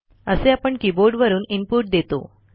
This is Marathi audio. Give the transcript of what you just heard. असे आपण कीबोर्डवरून इनपुट देतो